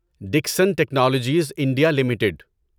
Dixon Technologies India limited